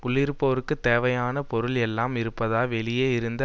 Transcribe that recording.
உள்ளிருப்போர்க்குத் தேவையான பொருள் எல்லாம் இருப்பதாய் வெளியே இருந்து